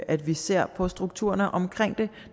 at vi ser på strukturerne omkring det